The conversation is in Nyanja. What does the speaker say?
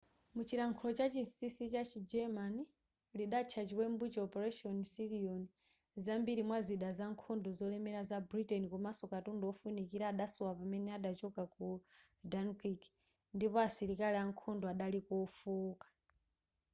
mchilankhulo chachinsisi chachi german lidatcha chiwembucho operation sealion zambiri mwa zida za nkhondo zolemera za britain komanso katundu wofunikira adasowa pamene adachoka ku dunkirk ndipo asilikali ankhondo adaliko ofooka